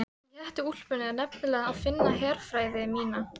Í hettuúlpunni er nefnilega að finna herfræði mína.